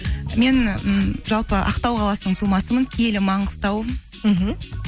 мен ммм жалпы ақтау қаласының тумасымын киелі маңғыстау мхм